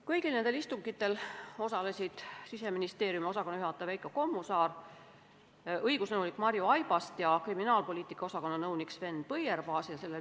Kõigil istungitel osalesid Siseministeeriumi korrakaitse- ja kriminaalpoliitika osakonna juhataja Veiko Kommusaar, sama osakonna õigusnõunik Marju Aibast ja nõunik Sven Põierpaas.